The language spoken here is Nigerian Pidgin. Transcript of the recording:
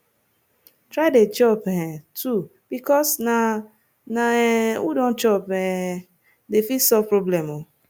try dey chop um too bikos na na um who don chop um dey fit solve problem o